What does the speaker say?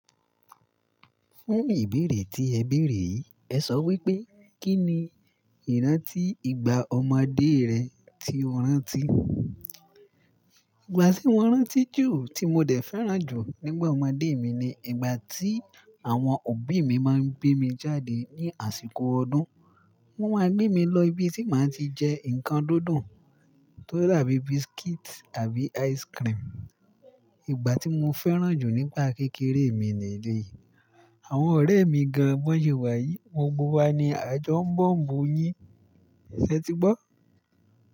Fún ìbéèrè tí ẹ béèrè, ẹ sọ wípé, "Kí ni ìrántí ìgbà ọmọdé rẹ tí o rántí?" Ìgbà tí mó rántí jù tí mó dẹ̀ fẹ́ràn jù nígbà ọmọdé mi ni ìgbà tí àwọn òbí míí máa ń gbé mí jádé ní àsìkò ọdún. Wọn máa gbé mi lọ ibi tí máa ti jẹ nńkan dídùn tó dá bí biscuit àbí ice cream. Ìgbà tí mó fẹ́ràn jù nípa kékeré mi nìyí. Àwọn ọ̀rẹ́ mí gán-an bọ́ sè wá yíí, gbògbò wá ní àjọ̀ n bọ̀m bú yín, ẹ ṣé ti gbọ́?